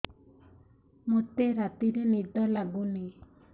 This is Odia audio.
ମୋତେ ରାତିରେ ନିଦ ଲାଗୁନି